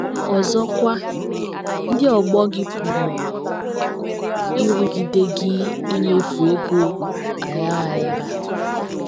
Ọzọkwa, ndị ọgbọ gị pụrụ ịrụgide gị imefu ego aghara aghara.